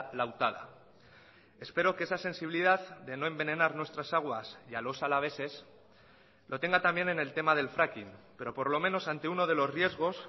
lautada espero que esa sensibilidad de no envenenar nuestras aguas y a los alaveses lo tenga también en el tema del fracking pero por lo menos ante uno de los riesgos